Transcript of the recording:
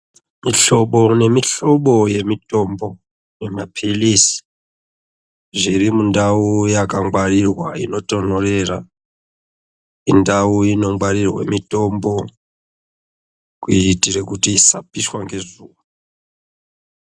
Mihlobo nemihlobo yemitombo yemaphirizi zviri mundau yakangwarirwa inotonhorera. Indau inongwarirwe mitombo kuitire kuti ishapiswe ngezuva.